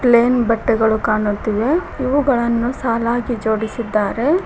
ಪೆನ ಬಟ್ಟೆಗಳು ಕಾಣುತ್ತಿವೆ ಇವುಗಳನ್ನು ಸಾಲಾಗಿ ಜೋಡಿಸಿದ್ದಾರೆ.